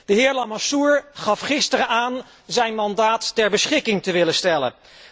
De heer Lamassoure gaf gisteren aan zijn mandaat ter beschikking te willen stellen.